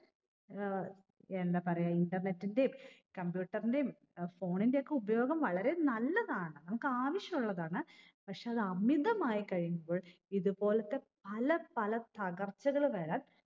ഏർ എന്താ പറയാ internet ൻറേം computer ൻറേം അഹ് phone ന്റെയൊക്കെ ഉപയോഗം വളരെ നല്ലതാണ് നമുക്ക് ആവശ്യം ഉള്ളതാണ് പക്ഷെ അത് അമിതമായി കഴിയുമ്പോൾ ഇത് പോലത്തെ പല പല തകർച്ചകള് വരാൻ